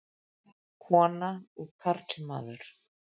Kona og karlmaður.